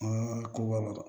An ka koba